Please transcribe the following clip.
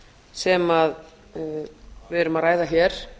sem við erum að ræða hér